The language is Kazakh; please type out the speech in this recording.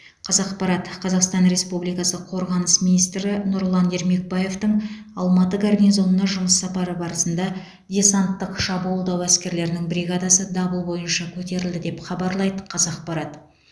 қазақпарат қазақстан республикасы қорғаныс министрі нұрлан ермекбаевтың алматы гарнизонына жұмыс сапары барысында десанттық шабуылдау әскерлерінің бригадасы дабыл бойынша көтерілді деп хабарлайды қазақпарат